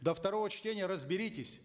до второго чтения разберитесь